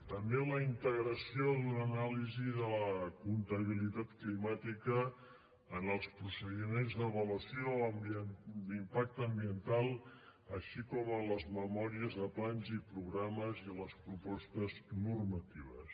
també la integració d’una anàlisi de la comptabilitat climàtica en els procediments d’avaluació d’impacte ambiental així com en les memòries de plans i programes i en les propostes normatives